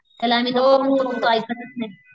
त्याला आम्ही तो ऐकतच नाही.